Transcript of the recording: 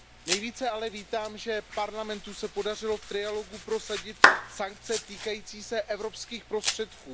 Nejvíce ale vítám, že Parlamentu se podařilo v trialogu prosadit sankce týkající se evropských prostředků.